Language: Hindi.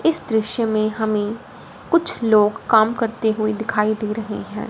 इस दृश्य में हमें कुछ लोग काम करते हुए दिखाई दे रहे हैं।